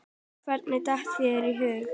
Hverjum datt það í hug?!